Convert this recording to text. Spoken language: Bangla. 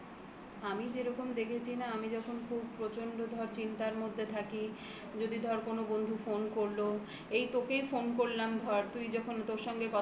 আমি যেরকম দেখেছি না আমি যখন খুব প্রচন্ড ধর চিন্তার মধ্যে থাকি যদি ধর কোনো বন্ধু phone করলো এই তোকেই phone করলাম ধর